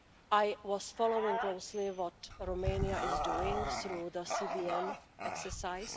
I was following closely what Romania is doing through the CVM exercise.